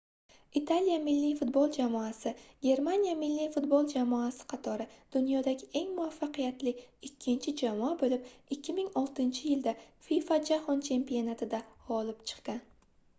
italiya milliy futbol jamoasi germaniya milliy futbol jamoasi qatori dunyodagi eng muvaffaqiyatli ikkinchi jamoa boʻlib 2006-yilda fifa jahon chempionatida gʻolib chiqqan